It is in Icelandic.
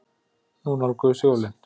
Nú nálguðust jólin.